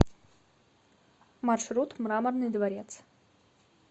маршрут мраморный дворец